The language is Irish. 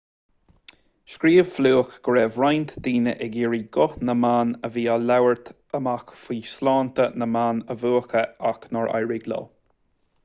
scríobh fluke go raibh roinnt daoine ag iarraidh guth na mban a bhí ag labhairt amach faoi shláinte na mban a mhúchadh ach nár éirigh leo